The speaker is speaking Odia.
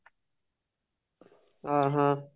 ଅ ହ